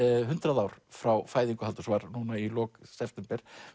hundrað ár frá fæðingu Halldórs var núna í lok september